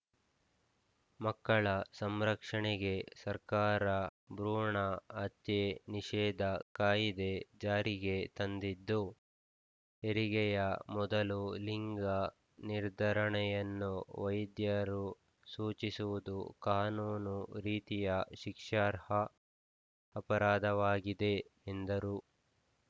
ಮಕ್ಕಳ ರಕ್ಷಣೆಗೆ ಸರ್ಕಾರ ಭ್ರೂಣ ಹತ್ಯೆ ನಿಷೇಧ ಕಾಯಿದೆ ಜಾರಿಗೆ ತಂದಿದ್ದು ಹೆರಿಗೆಯ ಮೊದಲು ಲಿಂಗ ನಿರ್ಧರಣೆಯನ್ನು ವೈದ್ಯರು ಸೂಚಿಸುವುದು ಕಾನೂನು ರೀತಿಯ ಶಿಕ್ಷಾರ್ಹ ಅಪರಾಧವಾಗಿದೆ ಎಂದರು